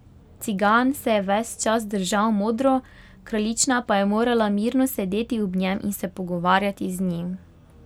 Cigan se je ves čas držal modro, kraljična pa je morala mirno sedeti ob njem in se pogovarjati z njim.